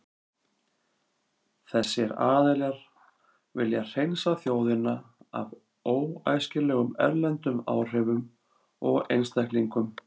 Þessir aðilar vilja hreinsa þjóðina af óæskilegum erlendum áhrifum og einstaklingum.